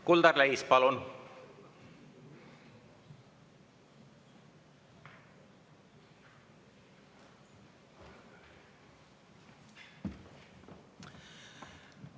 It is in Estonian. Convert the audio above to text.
Kuldar Leis, palun!